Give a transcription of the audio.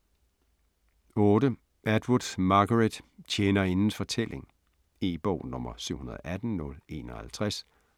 8. Atwood, Margaret: Tjenerindens fortælling E-bog 718051